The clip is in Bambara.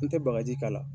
N tɛ bagaji k'a la